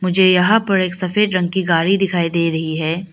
झे यहां पर एक सफेद रंग की गाड़ी दिखाई दे रही है।